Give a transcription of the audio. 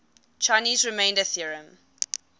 chinese remainder theorem